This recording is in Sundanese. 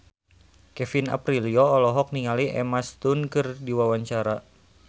Kevin Aprilio olohok ningali Emma Stone keur diwawancara